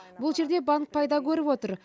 бұл жерде банк пайда көріп отыр